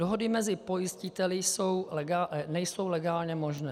Dohody mezi pojistiteli nejsou legálně možné.